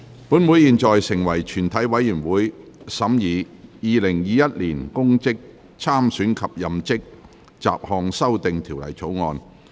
本會現在成為全體委員會，審議《2021年公職條例草案》。